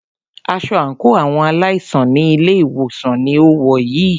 Aṣọ àńkò àwọn aláìsàn ní ilé ìwòsàn ní o wọ̀ yìí.